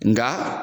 Nga